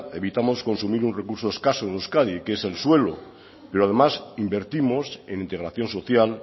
evitamos consumir un recurso escaso en euskadi que es el suelo pero además invertimos en integración social